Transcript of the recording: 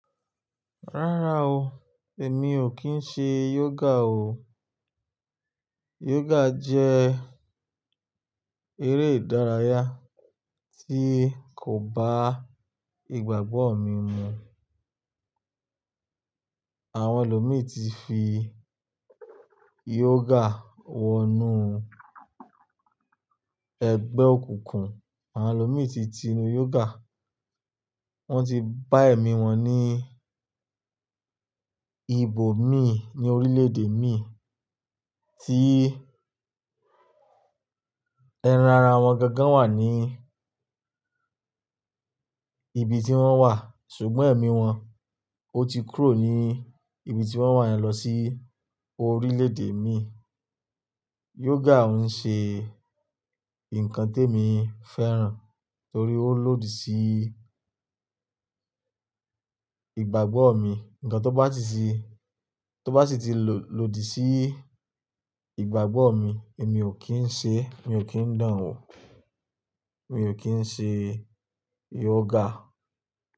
Rárá o, èmi ò kí ń ṣe yoga o. Yoga jẹ́ eré ìdárayá tí kò bá ìgbàgbọ́ mi mu. Àwọn ẹlòmíi ti fi yoga wọnú ẹgbẹ́ òkùnkùn, àwọn ẹlòmíi ti ti nu yoga, wọ́n ti bá ẹ̀mí wọn ní ibòmíì ní orílẹ̀-èdè mi tí ẹran ara wọn gangan wà ní ibi tí wọ́n wà ṣùgbọ́n ẹ̀mí wọn ó ti kúrò ní ibi tí wọ́n wà yẹn lọ sí orílẹ̀-èdè mii. Yoga ohun ṣe nǹkan tí emi fẹ́ràn torí ó lòdì sí ìgbàgbọ́ mi. Nǹkan tó bá sì ti lòdì sí ìgbàgbọ́ mi, èmi ò kí ń ṣe, mi ò kí ń dán an wò, mi ò kí ń ṣe yoga.